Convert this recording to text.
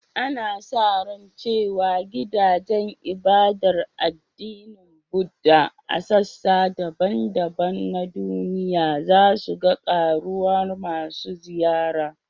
Ana sa ran cewa gidajen ibadar addinin Buddah a sassa daban-daban na duniya za su ga ƙaruwar masu ziyara